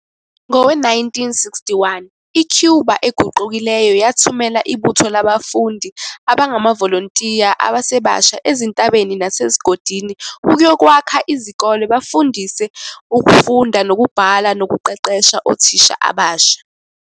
Ngowe-1961, i-Cuba eguqukileyo yathumela ibutho labafundi abangamavolontiya abasebasha ezintabeni nasezigodini ukuyokwakha izikole, bafundise ukufunda nokubhala nokuqeqesha othisha abasha.